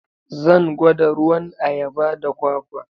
Zan gwada ruwan ayaba da kwakwa.